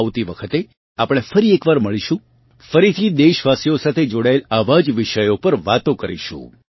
આવતી વખતે આપણે ફરી એકવાર મળીશું ફરીથી દેશવાસીઓ સાથે જોડાયેલ આવાં જ વિષયો પર વાતો કરીશું